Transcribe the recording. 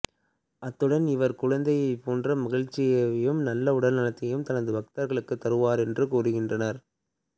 அத்துடன் இவர் குழந்தையைப் போன்ற மகிழ்வையும் நல்ல உடல்நலத்தையும் தனது பக்தர்களுக்குத் தருவார் என்றும் கூறுகின்றனர்